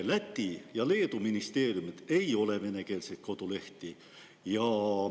Läti ja Leedu ministeeriumidel ei ole venekeelseid kodulehti.